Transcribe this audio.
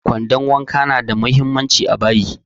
Kwandon wanka na da muhimmanci a bayi